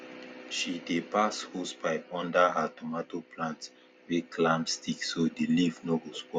she dey pass hosepipe under her tomato plant wey climb stick so the leaf no go spoil